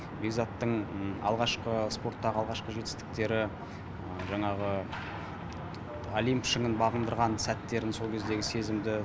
бекзаттың алғашқы спорттағы алғашқы жетістіктері жаңағы олимп шыңын бағындырған сәттерін сол кездегі сезімді